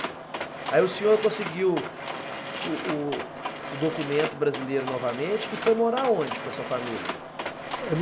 Aí o senhor conseguiu o o o documento brasileiro novamente e foi morar onde com a sua família?